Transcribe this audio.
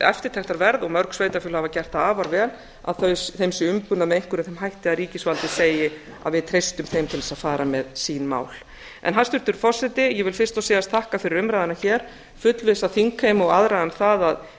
eftirtektarverð og mörg sveitarfélög hafa gert það afar vel þeim sé umbunað með einhverjum þeim hætti að ríkisvaldið segi að við treystum þeim til að fara með sín mál hæstvirtur forseti ég vil fyrst og síðast þakka fyrir umræðuna hér ég fullvissa þingheim og aðra um það að